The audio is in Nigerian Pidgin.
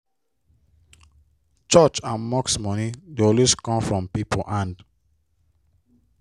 church and mosque money dey always come from people hand.